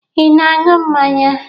Ị na-aṅụ mmanya?